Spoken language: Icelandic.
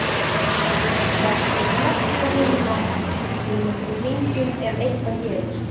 Vertu blessuð, vinan, við hringjum ef eitthvað gerist.